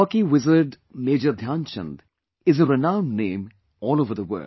Hockey maestro Major Dhyan Chand is a renowned name all over the world